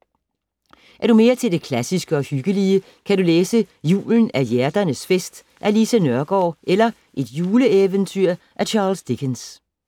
Er du mere til det klassiske og hyggelige kan du læse Julen er hjerternes fest af Lise Nørgaard eller Et juleeventyr af Charles Dickens.